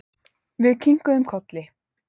Við kinkuðum kolli.